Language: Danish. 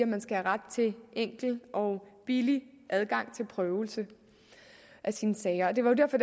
man skal have ret til enkel og billig adgang til prøvelse af sine sager det var jo derfor